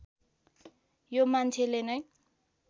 यो मान्छेले नै